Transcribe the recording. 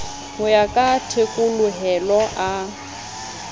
ho ya ka thekolohelo a